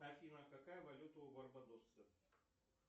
афина какая валюта у барбадоса